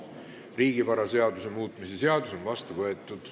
Riigivaraseaduse muutmise seadus on vastu võetud.